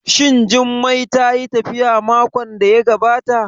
Shin Jummai tayi tafiya makon da ya gabata?